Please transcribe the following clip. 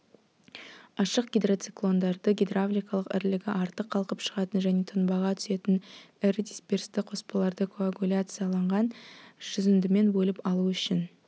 ашық гидроциклондарды гидравликалық ірілігі артық қалқып шығатын және тұнбаға түсетін ірі дисперсті қоспаларды коагуляцияанған жүзіндімен бөліп алу үшін